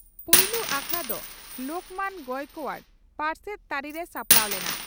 ᱯᱩᱭᱞᱩ ᱟᱠᱷᱲᱟ ᱫᱚ ᱞᱚᱠᱷᱢᱚᱱ ᱜᱚᱭᱠᱚᱣᱟᱰ ᱯᱟᱨᱥᱮᱛ ᱛᱟᱹᱨᱤᱨᱮ ᱥᱟᱯᱲᱟᱣ ᱞᱮᱱᱟ ᱾